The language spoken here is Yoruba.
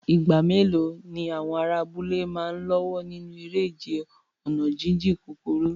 Ìgbà mélòó ni àwọn ará abúlé máa ń lọ́wọ́ nínú eré ìje ọ̀nà jíjìn kúkúrú?